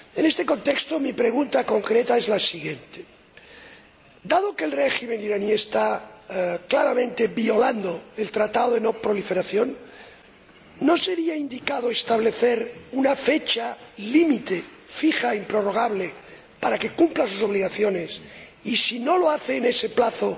En este contexto, mi pregunta concreta es la siguiente dado que el régimen iraní está claramente violando el Tratado de No Proliferación, ¿no sería indicado establecer una fecha límite, fija e improrrogable, para que cumpla sus obligaciones y, si no lo hace en ese plazo,